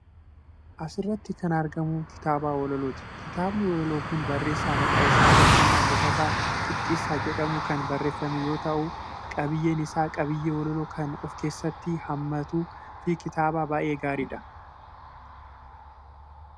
Asirratti kan argamu kitaaba walalooti. Kitaabni walaloo kun barreessaa maqaan isaa Tashoomaa Guuttataa Qixxeessaa jedhamuun kan barreeffame yommuu ta'u, qabiyyeen isaa qabiyyee walaloo kan of keessatti hamamatsu fi kitaaba baay'ee gaariidha.